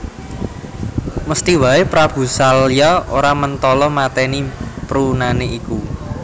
Mesthi wae Prabu Salya ora mentala mateni perunane iku